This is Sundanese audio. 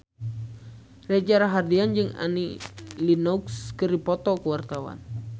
Reza Rahardian jeung Annie Lenox keur dipoto ku wartawan